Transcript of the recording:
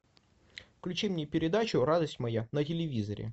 включи мне передачу радость моя на телевизоре